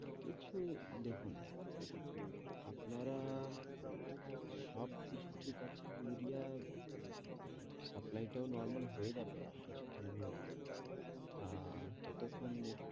কিছু দেখুন আপনারা সবকিছু ঠিক আছে ইউরিয়া supply টাও normal হয়ে যাবে কিছু দিনের মধ্যে আহ ততক্ষন একটু